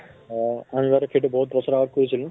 হয় । সেইটো বহুত বছৰ আগত কৈছিল।